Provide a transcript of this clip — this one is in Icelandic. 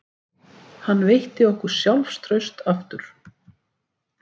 Hann veitti okkur sjálfstraust aftur